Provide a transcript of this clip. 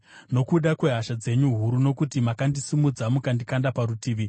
nokuda kwehasha dzenyu huru, nokuti makandisimudza mukandikanda parutivi.